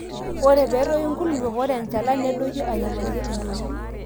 ore pee etoyu inkulupuok, ore enchalan nedoyio airiamariyie entoyiei